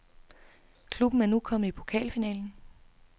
Klubben er nu kommet i pokalfinalen.